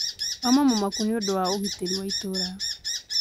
Auma mũmaku nĩũndũ wa ũgitĩri wa itũra